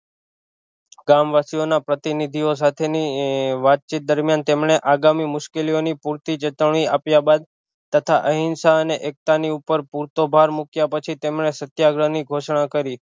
ગામવાસીઓનો પ્રતિનિધિઑ સાથે ની વાતચીત દરમિયાન તેમણે આગામી મુશ્કેલીઓની પૂરતી જતવણી આપ્યા બાદ તથા અહિંસા અને એકતા ની ઉપર પૂરતોભાર મૂક્યા પછી તેમણે સત્યાગ્રહ ની ઘોષણા કરી